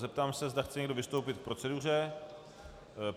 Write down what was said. Zeptám se, zda chce někdo vystoupit k proceduře.